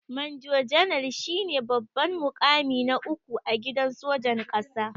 manjo janar shine babban mukami na uku a gidan sojan ƙasa.